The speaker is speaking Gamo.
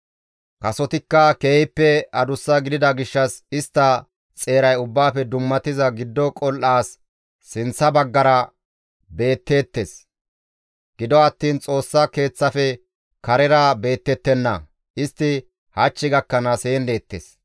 Kasotikka keehippe adussa gidida gishshas istta xeeray Ubbaafe Dummatiza Giddo Qol7aas sinththa baggara beetteettes; gido attiin Xoossa Keeththafe karera beettettenna. Istti hach gakkanaas heen deettes.